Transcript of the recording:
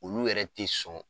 Olu yɛrɛ te sɔn